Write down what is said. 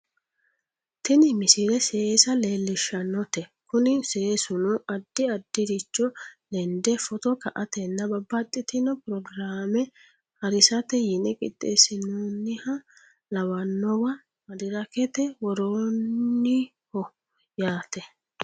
tini misile seesa leellishshannote kuni seesuno addi addiricho lende footo ka"atenna babbaxxxitino pirogiraame harisate yine qixxeessinoonniha lawannowa madirakete worrooniho yaate